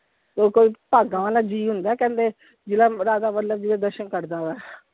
ਤੋਂ ਉਹ ਕੋਈ ਭਾਗਾਂ ਵਾਲਾ ਜੀ ਹੁੰਦਾ ਹੈ ਕਹਿੰਦੇ ਜਿਹੜਾ ਰਾਧਾ ਵੱਲਭ ਜੀ ਦਾ ਦਰਸ਼ਨ ਕਰਦਾ ਵਾ।